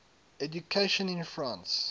education in france